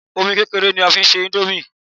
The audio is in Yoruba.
Omi kékeré ni a fi ń se índómì